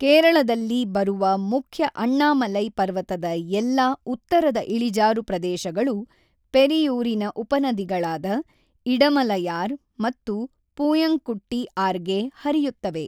ಕೇರಳದಲ್ಲಿ ಬರುವ ಮುಖ್ಯ ಅಣ್ಣಾಮಲೈ ಪರ್ವತದ ಎಲ್ಲಾ ಉತ್ತರದ ಇಳಿಜಾರು ಪ್ರದೇಶಗಳು ಪೆರಿಯೂರಿನ ಉಪನದಿಗಳಾದ ಇಡಮಲಯಾರ್ ಮತ್ತು ಪೂಯಂಕುಟ್ಟಿ ಆರ್ಗೆ ಹರಿಯುತ್ತವೆ.